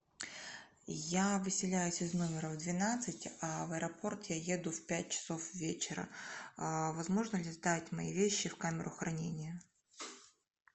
я выселяюсь из номера в двенадцать а в аэропорт я еду в пять часов вечера возможно ли сдать мои вещи в камеру хранения